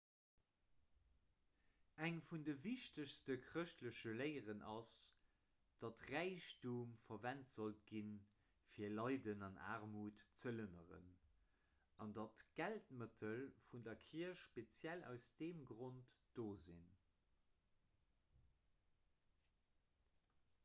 eng vun de wichtegste chrëschtleche léieren ass datt räichtum verwent sollt ginn fir leiden an aarmut ze lënneren an datt d'geldmëttel vun der kierch speziell aus deem grond do sinn